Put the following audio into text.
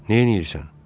Neyləyirsən?